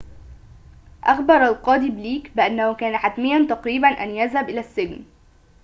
أخبر القاضي بليك بأنه كان حتميّاً تقريباً أن يذهب إلى السجن